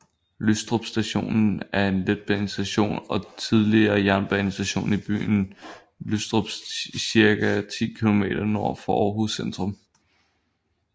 Lystrup Station er en letbanestation og tidligere jernbanestation i byen Lystrup cirka 10 km nord for Aarhus centrum